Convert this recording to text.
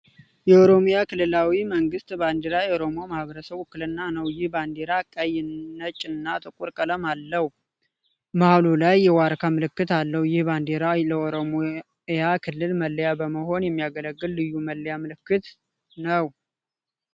የኦሮሚያ ክልላዊ መንግስት ባንዲራ የኦሮሞ ማህበረሰቦች ውክልና ነው። ይህ ባንዲራ ቀይ፣ ነጭ እና ጥቁር ቀለም አለው። መሐሉ ላይ የዋርካ ምልክት አለው። ይህ ባንዲራ ለኦሮሚያ ክልል መለያ በመሆን የሚያገለግል ልዩ መለያ ምልክት ነው።